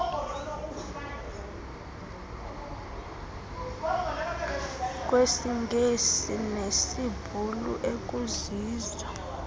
kwesingesi nesibhulu ekuzizo